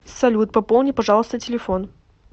салют пополни пожалуйста телефон